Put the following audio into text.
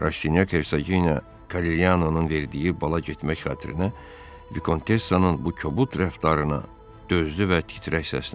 Rastinyak Ejenə Korellyanonun verdiyi bala getmək xatirinə Vikontessanın bu kobud rəftarına dözdü və titrək səslə dedi.